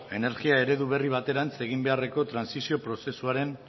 energia eredu berri baterantz egin beharreko trantsizio prozesuaren